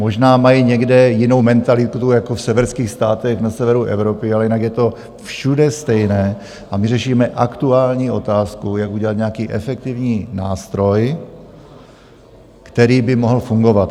Možná mají někde jinou mentalitu, jako v severských státech na severu Evropy, ale jinak je to všude stejné, a my řešíme aktuální otázku, jak udělat nějaký efektivní nástroj, který by mohl fungovat.